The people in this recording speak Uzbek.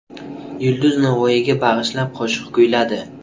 Yulduz Navoiyga bag‘ishlab qo‘shiq kuyladi.